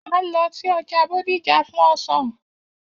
A ń lo sí ọja Bódìjà fún ọsán.